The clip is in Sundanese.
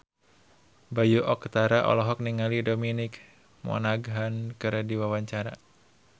Bayu Octara olohok ningali Dominic Monaghan keur diwawancara